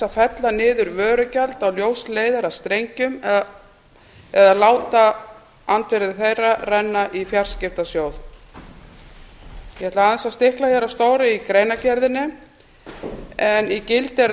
fella niður vörugjald á ljósleiðarastrengjum eða láta það renna til fjarskiptasjóðs ég ætla aðeins að ætla hér á stóru í greinargerðinni í gildi eru